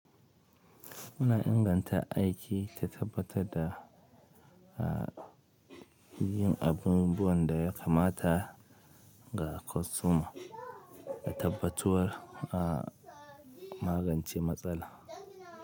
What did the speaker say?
Ina inganta aiki ta tabbatar da yin abubuwan da ya kamata ga kwastoma da tabbatuwar a magance matsala.